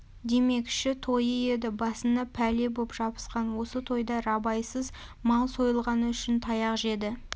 демекші тойы еді басына пәле боп жабысқан осы тойда рабайсыз мал сойылғаны үшін таяқ жеді